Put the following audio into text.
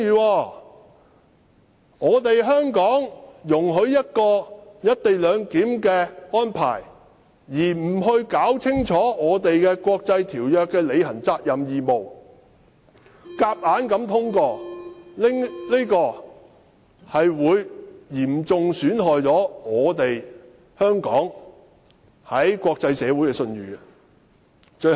香港只顧容許"一地兩檢"的安排，而不弄清楚香港就國際條約須履行的責任和義務，然後強行通過《條例草案》，將會嚴重損害香港在國際社會上的信譽。